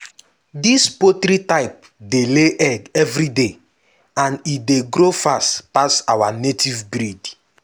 dis poultry type dey lay egg every day and e dey grow fast pass our old native breed.